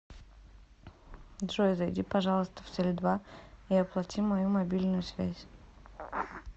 джой зайди пожалуйста в теле два и оплати мою мобильную связь